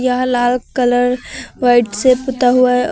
यह लाल colour white से पुता हुआ है।